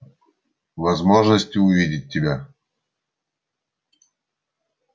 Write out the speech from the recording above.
возможности увидеть тебя